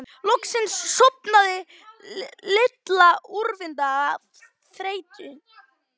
Loksins sofnaði Lilla úrvinda af þreytu.